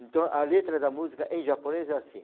Então, a letra da música em japonês é assim.